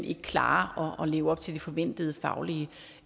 ikke klarer at leve op til det forventede faglige